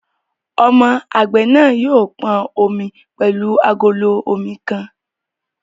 Ọmọ àgbẹ̀ náà yóò pọn omi pẹ̀lú agolo omi kan